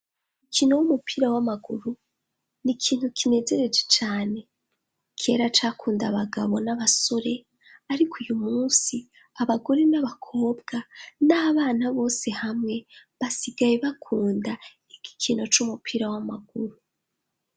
Umukino w'umupira w'amaguru ni kintu kinejereje cane kera cakunda abagabo n'abasore ariko uyu munsi abagore n'abakobwa n'abana bose hamwe basigaye bakunda igikino c'umupira w'amaguru.